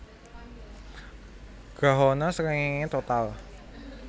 Grahana srengéngé total